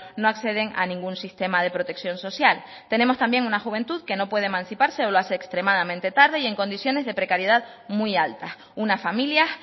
no acceden a ningún sistema de protección social tenemos también una juventud que no puede emanciparse o lo hace extremadamente tarde y en condiciones de precariedad muy altas unas familias